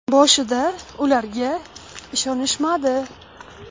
Boshida ular ishonishmadi.